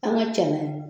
An ka cɛ